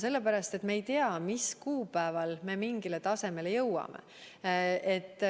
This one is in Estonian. Sellepärast, et me ei tea, mis kuupäeval me mingile tasemele jõuame.